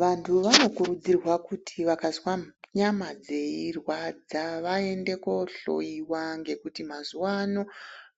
Vantu vanokurudzirwa kuti vakazwa nyama dzeirwadza vaende kohloyiwa ngekuti mazuwano